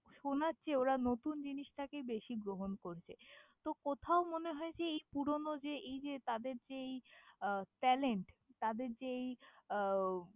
শোনার চেয়ে ওরা নতুন জিনিসটাকে বেশি গ্রহণ করছে, তো কোথাও মনে হয় যে এই পুরোনো যে এই যে তাদের যে এই আহ challenge তাদের যে এই আহ ও।